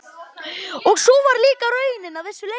Og sú var líka raunin að vissu leyti.